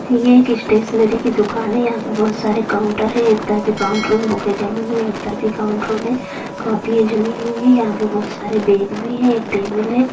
यह एक स्टेशनरी कि दुकान है यहाँ पे बहुत सारे काउंटर हैं एक तरफ काउंटरों में बुके जमी हुई है एक तरफ काउंटरों में कॉपियां जमी हुई है यहाँ पे बहुत सारे बैग भी हैं एक टेबुल है।